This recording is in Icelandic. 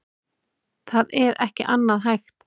Það er ekki annað hægt